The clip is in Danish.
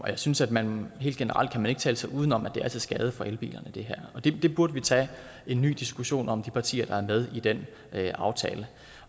jeg synes at man helt generelt ikke kan tale sig uden om at det her er til skade for elbilerne det burde vi tage en ny diskussion om i de partier der er med i den aftale